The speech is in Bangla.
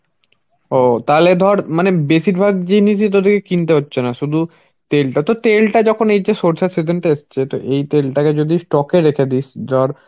ও তাহলে ধর মানে বেশির ভাগ জিনিসই তোদেরকে কিনতে হচ্ছে না. শুধু তেলটা তো তেলটা যখন এই যে সর্ষের season টা এসছে. তো এই তেলটাকে যদি stock এ রেখে দিস. ধর